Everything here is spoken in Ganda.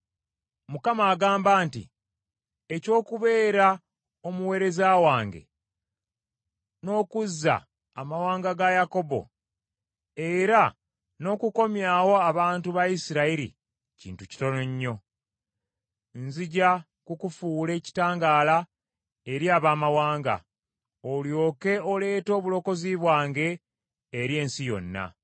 Mukama agamba nti, “Eky’okubeera omuweereza wange n’okuzza amawanga ga Yakobo era n’okukomyawo abantu ba Isirayiri kintu kitono nnyo. Nzija kukufuula ekitangaala eri abamawanga, olyoke oleete obulokozi bwange eri ensi yonna.”